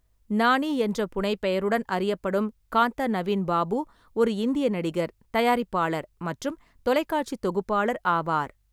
நானி என்ற புனைப்பெயருடன் அறியப்படும் காந்தா நவீன் பாபு ஒரு இந்திய நடிகர், தயாரிப்பாளர் மற்றும் தொலைக்காட்சி தொகுப்பாளர் ஆவார்.